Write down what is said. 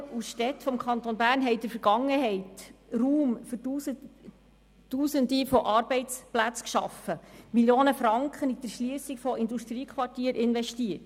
Die Gemeinden und Städte des Kantons Bern haben in der Vergangenheit Raum für Tausende von Arbeitsplätzen geschaffen und Millionen von Franken in die Erschliessung von Industriequartieren investiert.